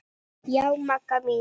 Já, Magga mín.